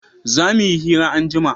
za muyi hira anjima